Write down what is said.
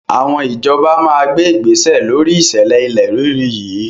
Àwọn ìjọba máa gbé igbésẹ̀ lóri ìṣẹ̀lẹ̀ ilẹ̀ rírì yìí.